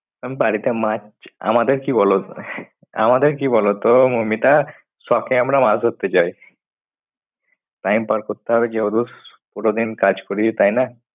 আমি বাড়িতে মাছ আমাদের কি বলো আমাদের কি বলো তো মৌমিতা শখে আমরা মাছ ধরতে যাই। time পার করতে হবে যেহেতু পুরো দিন কাজ করি, তাই না?